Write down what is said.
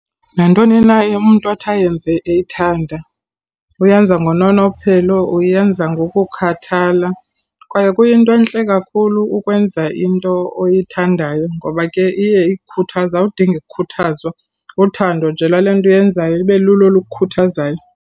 Nantoni na umntu athi ayenze eyithanda, uyenza ngononophelo, uyenza ngokukhathala. Kwaye kuyinto entle kakhulu ukwenza into oyithandayo ngoba ke iye ikukhuthaze, awudingi kukhuthazwa. Uthando nje lwale nto uyenzayo ibe lulo olukukhuthazayo.